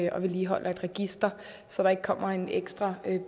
og vedligeholder et register så der ikke kommer en ekstra